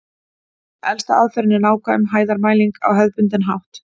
Elsta aðferðin er nákvæm hæðarmæling á hefðbundinn hátt.